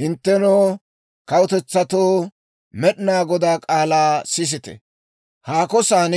«Hinttenoo, kawutetsatoo, Med'inaa Godaa k'aalaa sisite! haako san,